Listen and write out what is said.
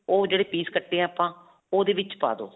ਉਹ ਜਿਹੜੇ piece ਕੱਟੇ ਆਪਾਂ, ਓਹਦੇ ਵਿਚ ਪਾ ਦਵੋ